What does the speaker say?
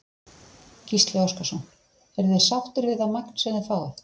Gísli Óskarsson: Eruð þið sáttir við það magn sem þið fáið?